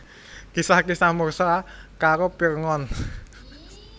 Kisah Kisah Musa karo Pirngon